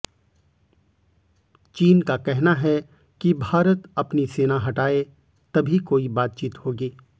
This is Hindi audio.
चीन का कहना है कि भारत अपनी सेना हटाए तभी कोई बातचीत होगी